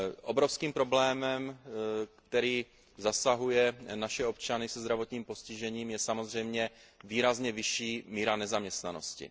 Obrovským problémem, který zasahuje naše občany se zdravotním postižením, je samozřejmě výrazně vyšší míra nezaměstnanosti.